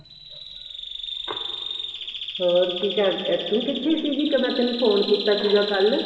ਹੋਰ ਕੀ ਕਰ ਤੂੰ ਕਿੱਥੇ ਸੀਗੀ ਮੈਂ ਤੈਨੂੰ phone ਕੀਤਾ ਸੀਗਾ ਕੱਲ